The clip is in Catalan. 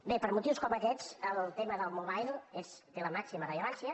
bé per motius com aquests el tema del mobile té la màxima rellevància